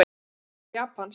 Allavega eitthvað japanskt.